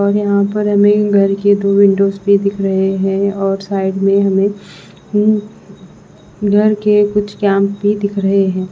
और यहाँ पर हमें घर के दो विंडोस भी दिख रहे हैं और साइड में हमें उम घर के कुछ कैम भी दिख रहे हैं।